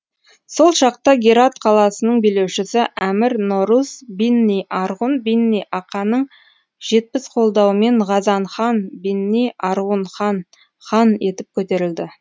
сол шақта герат қаласының билеушісі әмір норуз бинни арғун бинни ақаның жетпіс қолдауымен ғазан хан бинни арғун хан хан етіп көтерілді